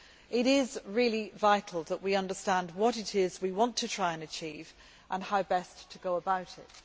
It is really vital that we understand what it is we want to try to achieve and how best to go about it.